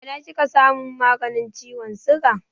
A ina kika samun maganin ciwon siga?